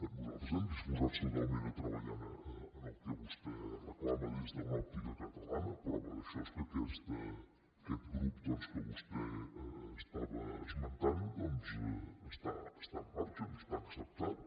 nosaltres estem disposats totalment a treballar en el que vostè reclama des d’una òptica catalana prova d’això és que aquest grup doncs que vostè estava esmentant està en marxa està acceptat